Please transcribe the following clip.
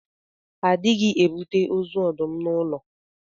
A dịghị ebute ozu ọdụm n'ụlọ.